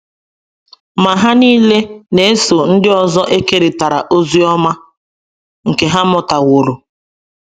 Ma Ha nile na - eso ndị ọzọ ekerịta ozi ọma nke ha mụtaworo.